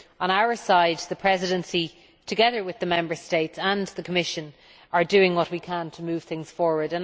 From our side, the Presidency together with the Member States and the Commission we are doing what we can to move things forward.